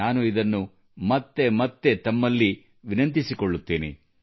ನಾನು ಇದನ್ನು ಮತ್ತೆ ಮತ್ತೆ ತಮ್ಮಲ್ಲಿ ವಿನಂತಿಸಿಕೊಳ್ಳುತ್ತೇನೆ